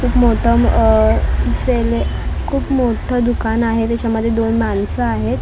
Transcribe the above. खूप मोठं अ ज्वेलर खूप मोठं दुकान आहे त्याच्यामध्ये दोन माणसं आहेत त्यान--